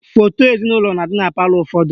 Foto ezinaụlọ na-adị na palọ ụfọdụ